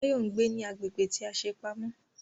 Báyọ̀ ń gbé ní agbègbè tí a ṣe pamọ́